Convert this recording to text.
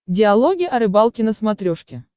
диалоги о рыбалке на смотрешке